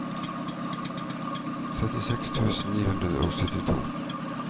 trettiseks tusen ni hundre og syttito